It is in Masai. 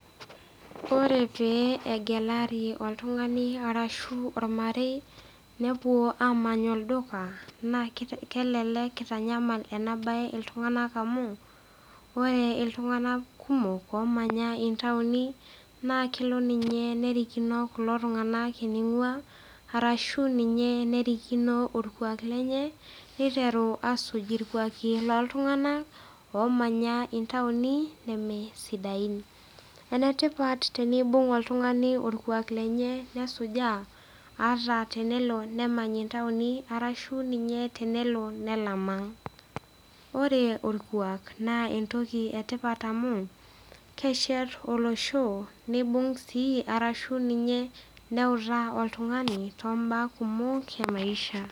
Ore pegelari oltungani ashu ormarei nepuo amany olduka na kelelek itanyamal enabae ltunganak oleng amu ore ltunganak kumok omanya ntauni na kelo ltunganak eningua arashu nye erikno eningua arashu erikino orkuaka loltunganak omanya ntauni nemesidain enetipat enibung oltungani orkuak lenye nesujaa aata tenelo nemany ntauni arashu tenelo nelam aang.